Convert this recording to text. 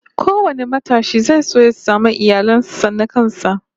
Kowane matashi zai so ya samu iyalin sa na kansa